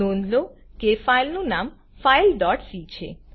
નોંધ લો કે ફાઈલનું નામ fileસી છે